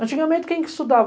Antigamente, quem estudava?